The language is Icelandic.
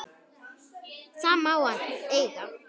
Það má hann eiga.